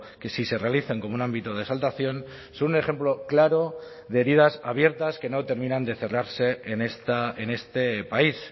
que si se realizan como un ámbito de exaltación son un ejemplo claro de heridas abiertas que no terminan de cerrarse en este país